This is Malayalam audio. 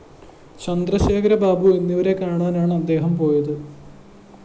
ചന്ദ്രശേഖരബാബു എന്നിവരെ കാണാനാണ്‌ അദ്ദേഹം പോയത്‌